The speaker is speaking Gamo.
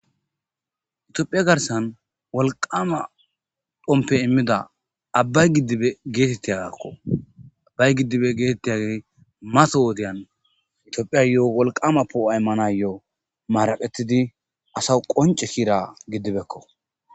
itiophiya garsan wolqama dhompe immida abbay giddibe geetettiyagakko abbay giddibe geetettiyagey mata wodiyan itiophiya lo7o wolqama poo7o immana lo7o maraqetidi asa qonce kira giddibekko